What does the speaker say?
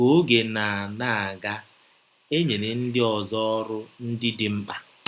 Ka ọge na - na - aga, e nyere ndị ọzọ ọrụ ndị dị mkpa.